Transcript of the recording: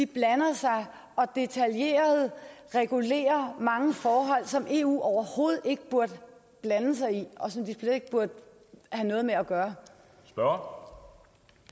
blander sig og detaljeret regulerer mange forhold som eu overhovedet ikke burde blande sig i og som de slet ikke burde have noget med at gøre gøre